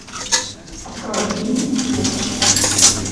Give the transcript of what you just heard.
открой фильм флетч